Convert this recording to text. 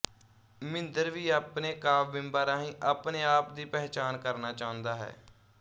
ਮਿੰਦਰ ਵੀ ਆਪਣੇ ਕਾਵਿ ਬਿੰਬਾਂ ਰਾਹੀਂ ਆਪਣੇ ਆਪ ਦੀ ਪਹਿਚਾਣ ਕਰਨਾ ਚਾਹੁੰਦਾ ਹੈ